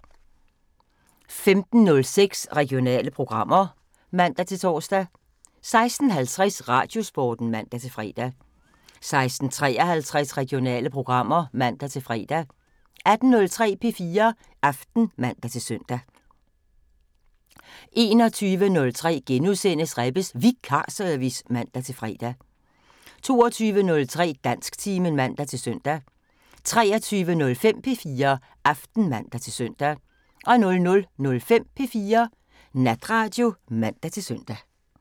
15:06: Regionale programmer (man-tor) 16:50: Radiosporten (man-fre) 16:53: Regionale programmer (man-fre) 18:03: P4 Aften (man-søn) 21:03: Rebbes Vikarservice *(man-fre) 22:03: Dansktimen (man-søn) 23:05: P4 Aften (man-søn) 00:05: P4 Natradio (man-søn)